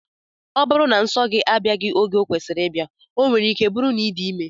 Ọ bụrụ na nso gị abịaghị oge ọ kwesịrị ịbịa, ọ nwere ike bụrụ na ị dị ime